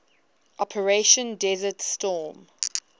operation desert storm